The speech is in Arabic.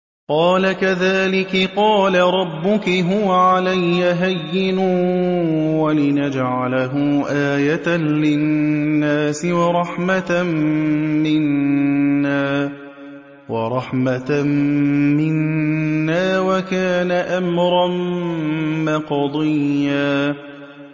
قَالَ كَذَٰلِكِ قَالَ رَبُّكِ هُوَ عَلَيَّ هَيِّنٌ ۖ وَلِنَجْعَلَهُ آيَةً لِّلنَّاسِ وَرَحْمَةً مِّنَّا ۚ وَكَانَ أَمْرًا مَّقْضِيًّا